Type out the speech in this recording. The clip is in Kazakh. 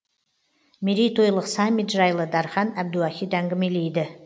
мерейтойлық саммит жайлы дархан әбдуахит әңгімелейді